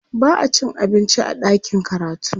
ba'a cin abinci a ɗakin karatu